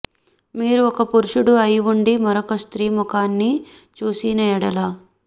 మీరు ఒక పురుషుడు అయి ఉండి మరొక స్త్రీ ముఖాన్ని చూసిన ఎడల